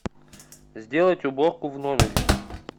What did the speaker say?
сделать уборку в номере